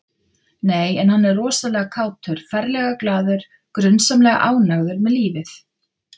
Nei, en hann er rosalega kátur, ferlega glaður, grunsamlega ánægður með lífið